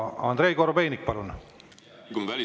Andrei Korobeinik, palun!